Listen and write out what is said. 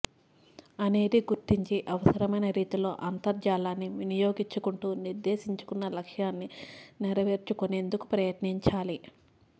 అనేది గుర్తించి అవసరమైన రీతిలో అంతర్జాలాన్ని వినియోగించుకుంటూ నిర్దేశించుకున్న లక్ష్యాన్ని నెరవేర్చుకొనేందుకు ప్రయత్నించాలి